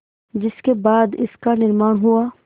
जिसके बाद इसका निर्माण हुआ